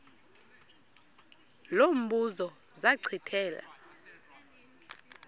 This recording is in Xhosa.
lo mbuzo zachithela